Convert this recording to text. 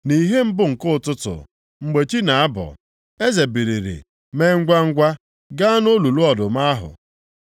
Nʼìhè mbụ nke ụtụtụ, mgbe chị na-abọ, eze biliri mee ngwangwa, gaa nʼolulu ọdụm ahụ.